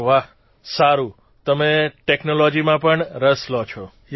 અરે વાહ સારૂં તમે ટેકનોલોજીમાં પણ રસ લો છો